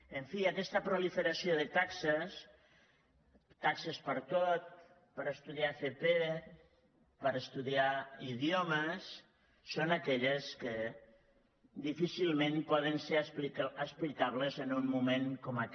en fi aquesta proliferació de taxes taxes per a tot per estudiar fp per estudiar idiomes són aquelles que difícilment poden ser explicables en un moment com aquest